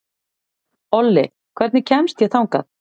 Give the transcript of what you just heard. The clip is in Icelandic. Olli, hvernig kemst ég þangað?